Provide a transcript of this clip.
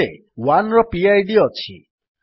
ଏଥିରେ 1ର ପିଡ୍ ଅଛି